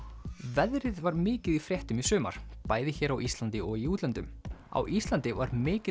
veðrið var mikið í fréttum í sumar bæði hér á Íslandi og í útlöndum á Íslandi var mikil